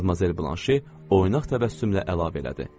Madmazel Blanşe oynaq təbəssümlə əlavə elədi.